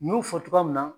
N y'o fɔ cogoya min na